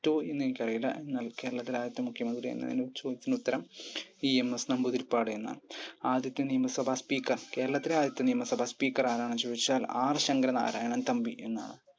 പറ്റോ എന്നെനിക്കറിയില്ല എന്നാൽ കേരളത്തിലെ ആദ്യത്തെ മുഖ്യമന്ത്രി എന്ന ചോദ്യത്തിന് ഉത്തരം EMS നമ്പൂതിരിപ്പാട് എന്നാണ് ആദ്യത്തെ നിയമസഭാ speaker കേരളത്തിലെ ആദ്യത്തെ നിയമസഭാ speaker ആരാണെന്നു ചോദിച്ചാൽ R ശങ്കര നാരായൺ തമ്പി എന്നാണ്‌